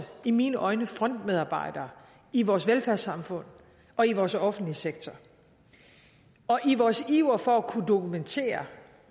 i mine øjne frontmedarbejdere i vores velfærdssamfund og i vores offentlige sektor i vores iver for at kunne dokumentere